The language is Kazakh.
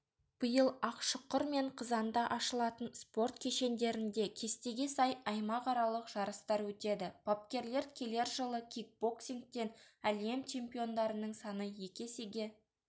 биыл ақшұқыр мен қызанда ашылатын спорт кешендерінде кестеге сай аймақаралық жарыстар өтеді бапкерлер келер жылы кикбоксингтен әлем чемпиондарының саны екі есеге